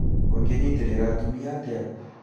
ũngĩnyitĩrĩra atumia atĩa ?